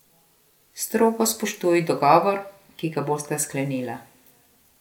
Strogo spoštuj dogovor, ki ga bosta sklenila.